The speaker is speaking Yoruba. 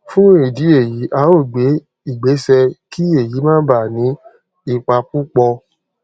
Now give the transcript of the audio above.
fún ìdí èyí a ó gbé ìgbésẹ kí èyí má bàa ní ipa púpọ